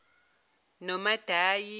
nomadayi